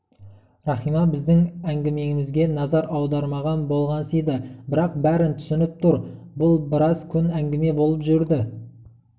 рахима біздің әңгімемізге назар аудармаған болғансиды бірақ бәрін түсініп тұр бұл біраз күн әңгіме болып жүрді